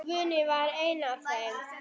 Guðný var ein af þeim.